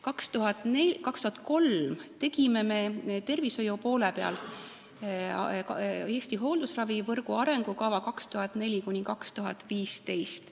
2003. aastal tegime me tervishoiupoole pealt "Eesti hooldusravivõrgu arengukava 2004–2025".